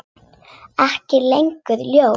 Ekki lengur ljót.